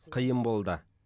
қиын болды